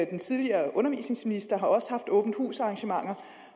den tidligere undervisningsminister har også haft åbent hus arrangementer